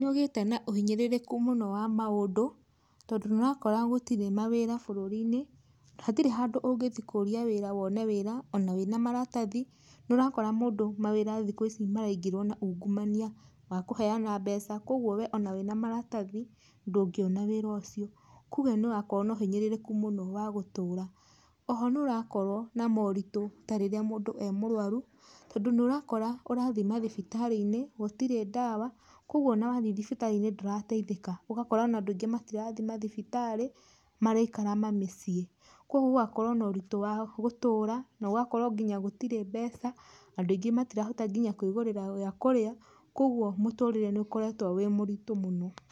Nĩ ũgĩte na ũhinyĩrĩrĩku mũno wa maũndũ, tondũ nĩ ũrakora gũtirĩ mawĩra bũrũri-inĩ, hatirĩ handũ ũngĩthiĩ kũũria wĩra wone wĩra ona wĩna maratathi, nĩ ũrakora mũndũ mawĩra thaici maraingĩrwo na ungumania wa kũheana mbeca, kwogwo we ona wĩna maratathi ndũngĩona wĩra ũcio, kũge nĩũrakorwo na ũhinyĩrĩrĩku mũno wa gũtũra. Oho nĩ ũrakorwo na moritũ ta rĩrĩa mũndu e mũrwaru, tondũ nĩ ũrakora ũrathiĩ mathibitarĩ-inĩ gũtirĩ ndawa, kwogwo ona wathiĩ thibitarĩ-inĩ ndũrateithĩka, ũgakora ona andũ aingĩ matirathiĩ mathibitarĩ maraikara mamĩciĩ. Kwogwo gũgakorwo noritũ wa gũtũũra, nogakoro nginya gũtirĩ mbeca, andũ aingĩ matirahota nginya kwĩgũrĩra gĩa kũrĩa, kwoguo mũtũrĩre nĩ ũkoretwo wĩ mũritũ mũno.